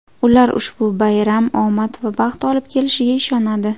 Ular ushbu bayram omad va baxt olib kelishiga ishonadi.